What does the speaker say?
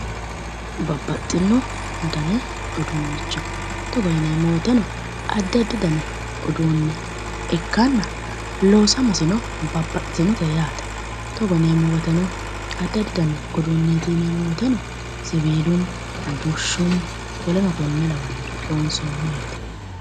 Babbaxino Dani uduunnicho Togo yineemmo woyitenno adi adi danni uduunne ikkaana loosammasino babaxitinote yaate Togo yineemmo woyiiteno adi adi Danite yineemmo woyiiteno sieiilunn bushunni woleno kuri lawannoteeti